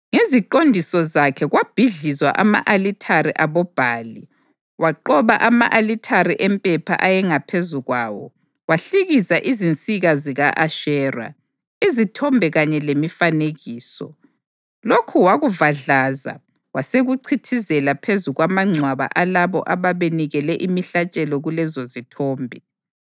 Ngeziqondiso zakhe kwabhidlizwa ama-alithare aboBhali; waqoba ama-alithare empepha ayengaphezu kwawo; wahlikiza izinsika zika-Ashera, izithombe kanye lemifanekiso. Lokhu wakuvadlaza wasekuchithizela phezu kwamangcwaba alabo ababenikele imihlatshelo kulezozithombe.